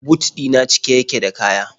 But ɗi na cike yake da kaya.